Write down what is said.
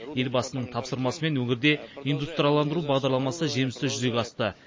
елбасының тапсырмасымен өңірде индустрияландыру бағдарламасы жемісті жүзеге асты